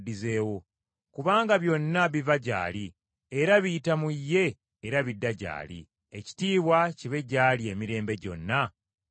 Kubanga byonna biva gy’ali, era biyita mu ye era bidda gy’ali. Ekitiibwa kibe gy’ali emirembe gyonna. Amiina.